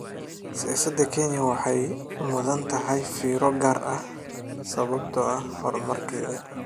Siyaasada Kenya waxay mudan tahay fiiro gaar ah, sababtoo ah horumarkeeda.